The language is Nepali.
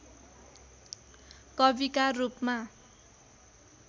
कविका रूपमा